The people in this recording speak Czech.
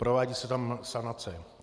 Provádí se tam sanace.